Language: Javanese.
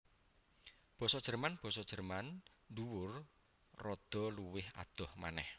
Basa Jerman Basa Jèrman dhuwur rada luwih adoh manèh